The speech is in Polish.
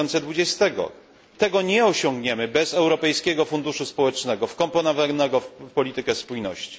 2020. Tego nie osiągniemy bez Europejskiego Funduszu Społecznego wkomponowanego w politykę spójności.